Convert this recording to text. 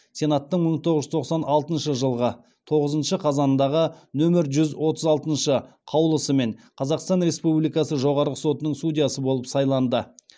сенаттың мың тоғыз жүз тоқсан алтыншы жылғы тоғызыншы қазанындағы нөмір жүз отыз алтыншы қаулысымен қазақстан республикасы жоғарғы сотының судьясы болып сайланды